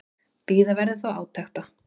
Bíða verði þó átekta.